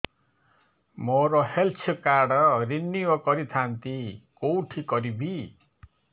ମୋର health card renew କରିଥାନ୍ତି କୋଉଠି କରିବି